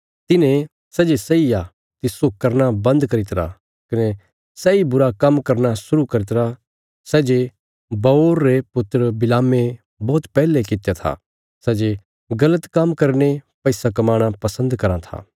तिन्हें सै जे सही आ तिस्सो करना बन्द करी तरा कने सैई बुरा काम्म करना शुरु करी तरा सै जे बओर रे पुत्र बिलामे बौहत पैहले कित्या था सै जे गल़त काम्म करीने पैसा कमाणा पसन्द कराँ था